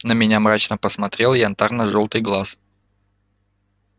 на меня мрачно посмотрел янтарно-жёлтый глаз